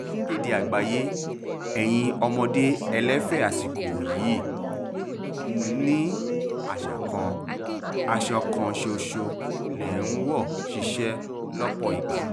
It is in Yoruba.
akéde àgbáyé ẹ̀yin ọmọdé ẹlẹ́fẹ̀ àsìkò yìí ni àṣà kan aṣọ kan ṣoṣo lè ń wọ̀ síṣẹ́ lọ́pọ̀ ìgbà